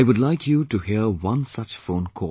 I would like you to hear one such phone call